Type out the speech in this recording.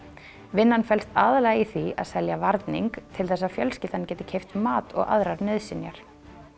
vinnan felst aðallega í því að selja varning til þess að fjölskyldan geti keypt mat og aðrar nauðsynjar